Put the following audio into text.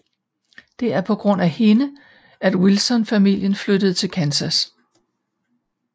Det er på grund af hende at Wilson familien flytter fra Kansas